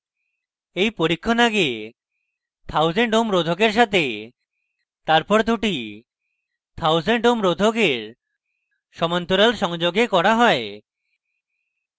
এই পরীক্ষণ আগে 1000ω ohms রোধকের সাথে তারপর দুটি 1000 ω ohms রোধকের সমান্তরাল সংযোগে করা হয়